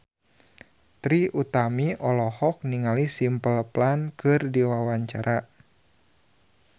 Trie Utami olohok ningali Simple Plan keur diwawancara